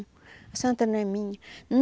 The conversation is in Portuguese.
A santa não é minha.